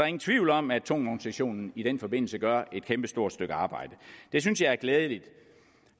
ingen tvivl om at tungvognssektionen i den forbindelse gør et kæmpestort stykke arbejde det synes jeg er glædeligt